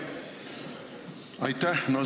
Aitäh!